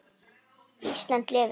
Ísland lifi.